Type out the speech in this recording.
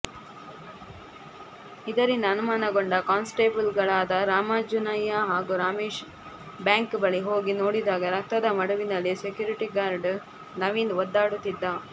ಇದರಿಂದ ಅನುಮಾನಗೊಂಡ ಕಾನ್ಸ್ಟೇಬಲ್ಗಳಾದ ರಾಮಾಂಜುನಯ್ಯ ಹಾಗೂ ರಮೇಶ್ ಬ್ಯಾಂಕ್ ಬಳಿ ಹೋಗಿ ನೋಡಿದಾಗ ರಕ್ತದ ಮಡುವಿನಲ್ಲಿ ಸೆಕ್ಯೂರಿಟಿಗಾರ್ಡ್ ನವೀನ್ ಒದ್ದಾಡುತ್ತಿದ್ದ